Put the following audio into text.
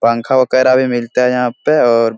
पंखा वगैरा भी मिलता है यहाँ पे और --